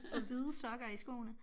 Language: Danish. Og hvide sokker i skoene